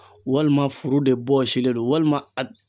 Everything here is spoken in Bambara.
Walima furu de bɔsilen do walima a